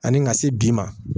Ani ka se bi ma